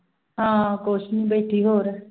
ਹਾਂ ਕੁਛ ਨੀ ਬੈਠੀ ਹੋਰ